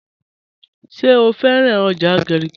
Ṣẹ̀ o fẹ̀ràn ọjà Garki?